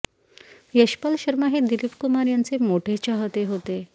यशपाल शर्मा हे दिलीप कुमार यांचे मोठे चाहते होते